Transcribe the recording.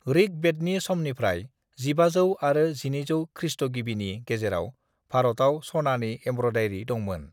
ऋग्वेदनि समनिफ्राय 1500 आरो 1200 खृष्टगिबिनि गेजेराव भारतआव स'नानि एमब्रयदारि दंमोन।